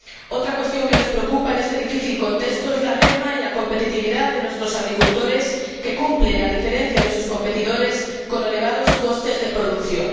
Otra cuestión que nos preocupa en este difícil contexto es la merma en la competitividad de nuestros agricultores, que soportan, a diferencia de sus competidores, elevados costes de producción.